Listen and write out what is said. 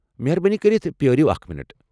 مہربٲنی کٔرتھ پیٲرو اکھ منٹ۔